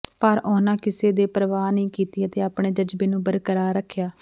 ਪਰ ਉਹਨਾਂ ਕਿਸੇ ਦੀ ਪ੍ਰਵਾਹ ਨਹੀਂ ਕੀਤੀ ਅਤੇ ਆਪਣੇ ਜਜ਼ਬੇ ਨੂੰ ਬਰਕਰਾਰ ਰੱਖਿਆ